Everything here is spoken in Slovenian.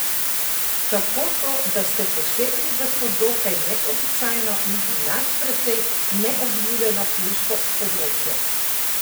Kako to, da ste posegli v to dokaj neobičajno in pri nas precej neobljudeno pivsko področje?